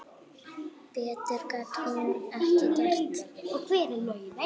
Betur gat hún ekki gert.